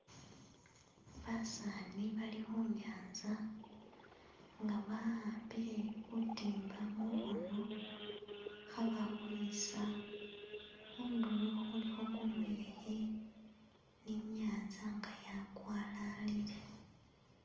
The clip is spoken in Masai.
Basani bali khunyanza nga ba'ambile butimba mukhono khabakhwesa khundulo khulikho kumuyekhe ni nyanza nga yakwalalile.